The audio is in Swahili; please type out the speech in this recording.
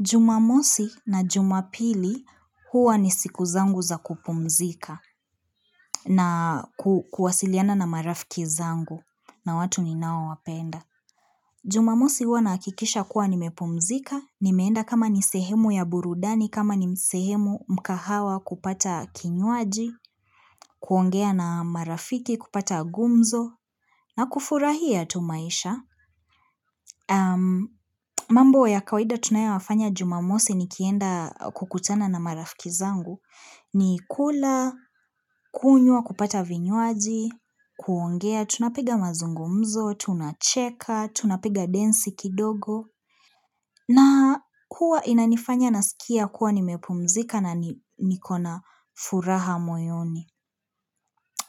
Jumamosi na jumapili huwa ni siku zangu za kupumzika na kuwasiliana na marafiki zangu na watu ni ninao wapenda. Jumamosi huwa nahakikisha kuwa nimepumzika, nimeenda kama ni sehemu ya burudani, kama ni sehemu mkahawa kupata kinywaji, kuongea na marafiki, kupata gumzo, na kufurahia tu maisha. Mambo ya kawaida tunayoyafanya jumamosi nikienda kukutana na marafiki zangu ni kula, kunywa kupata vinywaji, kuongea, tunapiga mazungumzo, tunacheka, tunapiga densi kidogo na huwa inanifanya nasikia kuwa nimepumzika na nikona furaha moyoni